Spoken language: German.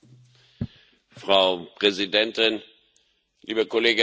Frau Präsidentin, liebe Kolleginnen und Kollegen!